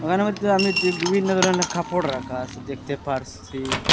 মইধ্যে আমি দে বিভিন্ন ধরনের কাফড় রাখা আসে দেখতে পারসি।